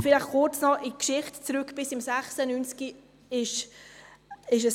Vielleicht kurz noch ein Blick zurück auf die Geschichte: